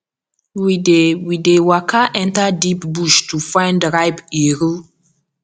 we dey we dey waka enter deep bush to find ripe iru